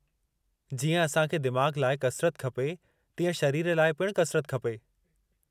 जीअं असां खे दिमाग़ु लाइ कसरत खपे, तीअं शरीर लाइ पिणु कसरत खपे।